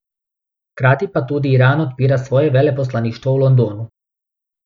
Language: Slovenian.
Hkrati pa tudi Iran odpira svoje veleposlaništvo v Londonu.